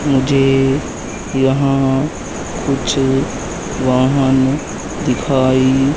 मुझे यहां कुछ वाहन दिखाई--